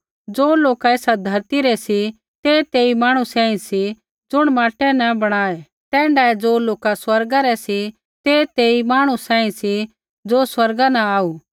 ज़ो लोका ऐसा धौरती रै सी ते तेई मांहणु सांही सी ज़ुण माटै न बणाऊ तैण्ढै ही ज़ो लोका स्वर्गा रै सी ते तेई मांहणु सांही सी ज़ो स्वर्गा न आऊ